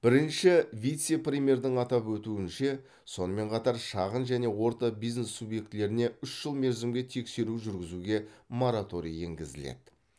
бірінші вице премьердің атап өтуінше сонымен қатар шағын және орта бизнес субъектілеріне үш жыл мерзімге тексеру жүргізуге мораторий енгізіледі